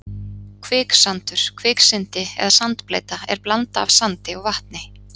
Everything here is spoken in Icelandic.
Kviksandur, kviksyndi eða sandbleyta er blanda af sandi og vatni.